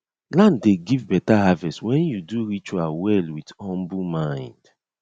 land dey give better harvest when you do ritual well with humble mind